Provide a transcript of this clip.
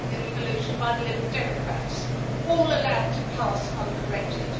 evolution by the Liberal Democrats, all allowed to pass uncorrected.